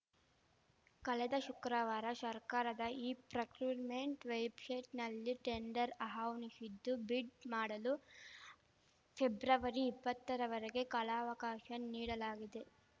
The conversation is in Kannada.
ಕಳೆದ ಶುಕ್ರವಾರ ಶರ್ಕಾರದ ಇ ಪ್ರಕ್ಯುರ್‌ಮೆಂಟ್‌ ವೆಬ್‌ಶೈಟ್‌ನಲ್ಲಿ ಟೆಂಡರ್ ಆಹ್ವಾನಿಶಿದ್ದು ಬಿಡ್‌ ಮಾಡಲು ಫೆಬ್ರವರಿಇಪ್ಪತ್ತರವರೆಗೆ ಕಾಲಾವಕಾಶ ನೀಡಲಾಗಿದೆ